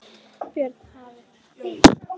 Björn: Þið hafið aldrei séð annað eins?